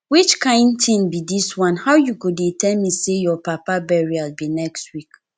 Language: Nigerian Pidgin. which kin thing be dis one how you go dey tell me say your papa burial be next week